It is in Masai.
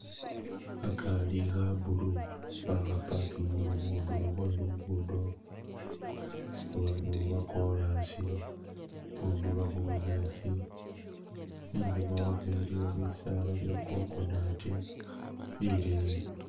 Khakari kha blue bakha pakingile khundulo khwe lugudo lwo korasi khundulo khu bunyasi inyuma wakho iliyo bisala bye coconut bileyi.